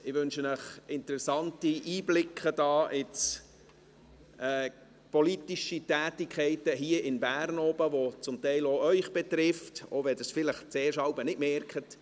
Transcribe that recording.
Ich wünsche Ihnen interessante Einblicke in die politischen Tätigkeiten, hier in Bern oben, die zum Teil auch Sie betreffen, auch wenn Sie es vielleicht jeweils zuerst nicht merken.